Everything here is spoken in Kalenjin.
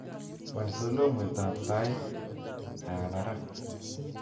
Wal soloiwet ab taitab kaa barak